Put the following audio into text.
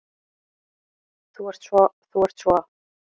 Þú ert svo. þú ert svo.